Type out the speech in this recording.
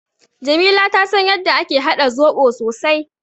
Jamila ta san yadda ake haɗa zoɓo sosai.